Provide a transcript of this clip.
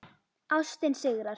Ástin sigrar